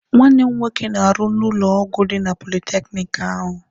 Nwanne m nwoke na-arụ n'ụlọ ọgwụ dị na politekiniki ahụ.